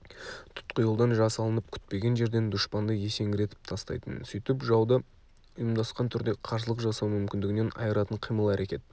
тұтқиылдан жасалынып күтпеген жерден дұшпанды есеңгіретіп тастайтын сөйтіп жауды ұйымдасқан түрде қарсылық жасау мүмкіндігінен айыратын қимыл-әрекет